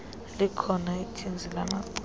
likhona ithinzi lamacala